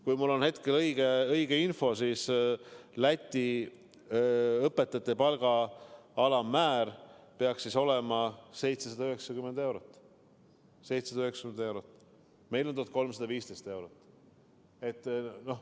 Kui mul on õige info, siis Läti õpetajate palga alammäär peaks olema 790 eurot, meil on 1315 eurot.